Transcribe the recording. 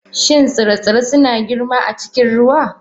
Shin tsire-tsire suna girma a cikin ruwa?